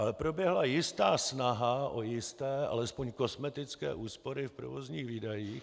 Ale proběhla jistá snaha o jisté, alespoň kosmetické úspory v provozních výdajích.